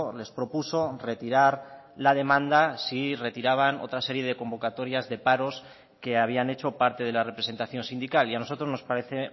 les propuso retirar la demanda si retiraban otra serie de convocatorias de paros que habían hecho parte de la representación sindical y a nosotros nos parece